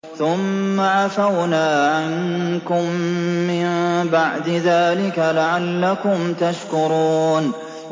ثُمَّ عَفَوْنَا عَنكُم مِّن بَعْدِ ذَٰلِكَ لَعَلَّكُمْ تَشْكُرُونَ